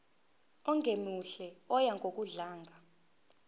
ongemuhle oya ngokudlanga